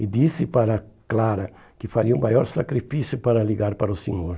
E disse para Clara que faria o maior sacrifício para ligar para o senhor.